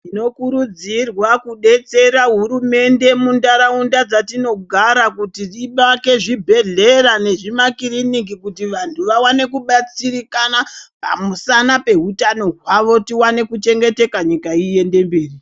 Tino kurudzirwa kudetsera hurumende, mundaraunda dzatinogara, kuti ibake zvibhedhlera nezvi makiriniki, kuti vanthu vawane kubatsirikana pamusana peutano hwavo, tiwane kuchengeteka, nyika iende mberi.